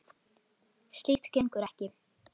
Slíkt gengur ekki.